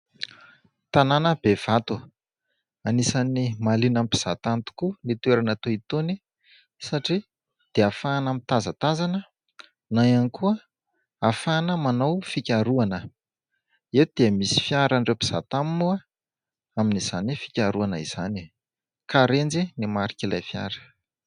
tanàna bevato anisan'ny maliana ampizahatany tokoa ny toerana to itony satria dia fahana mitazatazana na iankoa hafahana manao fikaroana eto dia misy fiaran'ireo mpizatamy moa amin'izany fikaroana izany ka renjy ny marikailay fiara